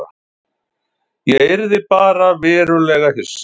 Ég yrði bara verulega hissa.